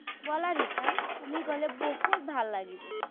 ব'লা ৰিতা, তুমি গ'লে বহুত ভাল লাগিব।